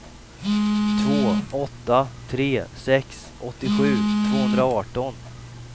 två åtta tre sex åttiosju tvåhundraarton